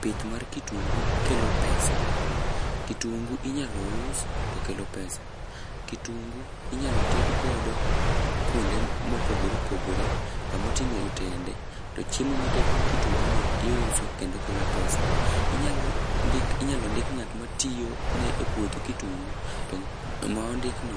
Pith mar kitungu kelo pesa. Kitungu inyalo us to kelo pesa. Kitungu inyalo ted godo kwonde mopogore opogore, kamoting'o otende, to chiemo moted gi kitungu no iuso, kendo kelo pesa. Inyalo ndik ng'at matiyo ne e puoth kitungu, to nga'no ma ondikno